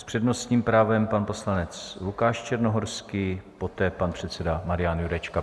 S přednostním právem pan poslanec Lukáš Černohorský, poté pan předseda Marian Jurečka.